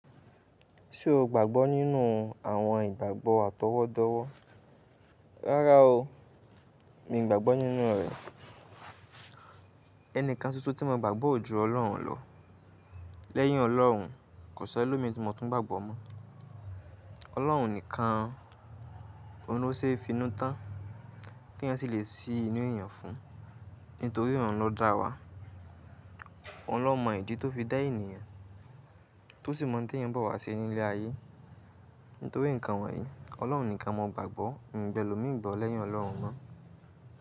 Ṣé o gbàgbọ́ nínú àwọn ìgbàgbọ́ àtọwọ́dọ́wọ́? Rárá o, mi ò gbàgbọ́ nínú rẹ̀. Ẹni kan ṣoṣo tí mo gbàgbọ́ o jù Ọlọ́run lọ. Lẹ́yìn Ọlọ́run, kò sí ẹlòmíi ti mo túń gbàgbọ́ mọ́. Ọlọ́run nìkan, òun ló ṣe finú tán kí èèyàn sì lè sí inú èèyàn fún un. Nítorí òun ló dá wa, òun ló mọ ìdí tó fi dá ènìyàn, tó sì mọ̀ òun tí èèyàn nbọ̀ wá ṣe nilẹ̀ ayé. Nítorí nǹkan wọ̀nyí, Ọlọ́run nìkan mo gbàgbọ́, mi ò gbẹ́lómìí gbọ́ lẹ́yìn Ọlọ́run mọ́.